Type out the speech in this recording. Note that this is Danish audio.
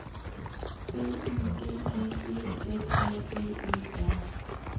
B Y G G E S A G E R